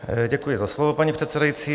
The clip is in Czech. Děkuji za slovo, paní předsedající.